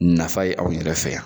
Nafa ye anw yɛrɛ fɛ yan.